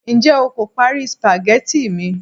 njé o ko pari spaghetti mi